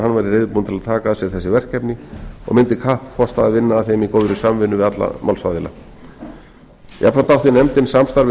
reiðubúinn til að taka að sér þessi verkefni og mundi kappkosta að vinna að þeim í góðri samvinnu við alla málsaðila jafnframt átti nefndin samstarf við formann